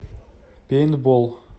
пейнтбол